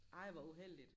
Ej hvor uheldigt